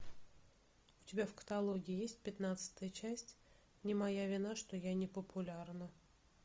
у тебя в каталоге есть пятнадцатая часть не моя вина что я не популярна